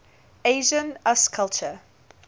asian usculture